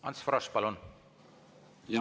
Ants Frosch, palun!